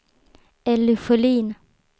Elly Sjölin